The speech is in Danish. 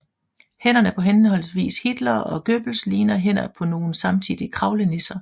Hænderne på henholdsvis Hitler og Goebbels ligner hænder på nogle samtidige kravlenisser